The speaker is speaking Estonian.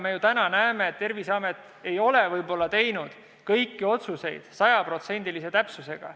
Me täna ju näeme, et Terviseamet ei ole teinud kõiki otsuseid võib-olla sajaprotsendilise täpsusega.